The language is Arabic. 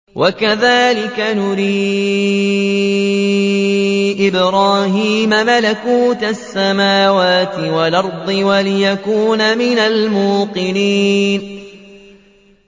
وَكَذَٰلِكَ نُرِي إِبْرَاهِيمَ مَلَكُوتَ السَّمَاوَاتِ وَالْأَرْضِ وَلِيَكُونَ مِنَ الْمُوقِنِينَ